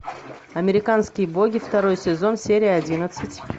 американские боги второй сезон серия одиннадцать